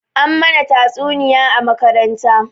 An mana tatsuniya a makaranta